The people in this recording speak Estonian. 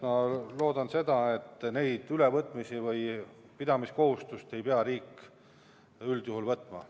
Ma loodan, et seda pidamiskohustust ei pea riik üldjuhul üle võtma.